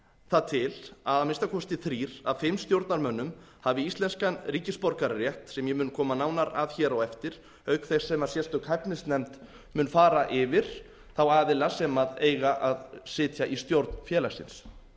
það til að minnsta kosti þrír af fimm stjórnarmönnum hafi íslenskan ríkisborgararétt sem ég mun kom nánar að hér á eftir auk þess sem mistök hæfnisnefnd mun fara yfir þá aðila sem eiga að sitja í stjórn félagsins